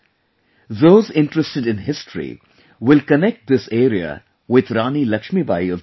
Those interested in history will connect this area with Rani Lakshmibai of Jhansi